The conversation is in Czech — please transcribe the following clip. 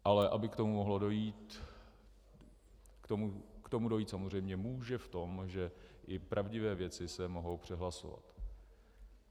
Ale aby k tomu mohlo dojít - k tomu dojít samozřejmě může v tom, že i pravdivé věci se mohou přehlasovat.